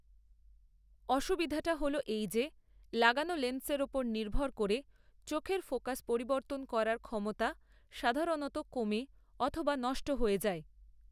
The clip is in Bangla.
অসুবিধাটি হল এই যে লাগানো লেন্সের ওপর নির্ভর করে চোখের ফোকাস পরিবর্তন করার ক্ষমতা সাধারণত কমে অথবা নষ্ট হয়ে যায়।